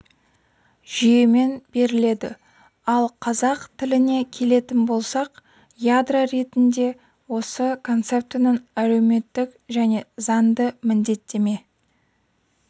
жүйемен беріледі ал қазақ тіліне келетін болсақ ядро ретінде осы концептінің әлеуметтік және заңды міндеттеме